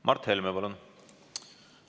Mart Helme, palun!